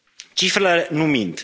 Cifrele nu mint.